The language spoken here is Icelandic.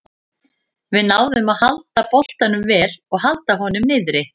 Við náðum að halda boltanum vel og halda honum niðri.